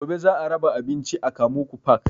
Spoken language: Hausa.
Gobe za a raba abinci a kamuku park